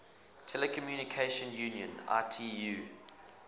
telecommunication union itu